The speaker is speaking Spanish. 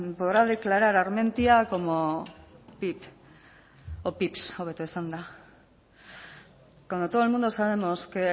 podrá declarar armentia como pip o pips hobeto esanda cuando todo el mundo sabemos que